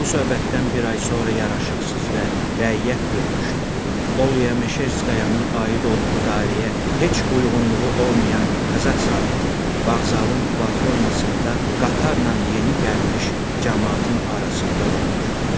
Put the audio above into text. Bu söhbətdən bir ay sonra yaraşıqsız və rəiyyət görünüşlü, Olya Meşerskayanın aid olduğu dairəyə heç uyğunluğu olmayan Kazak zabiti vağzalın platformasında qatarla yeni gəlmiş camaatın arasında onu güllələdi.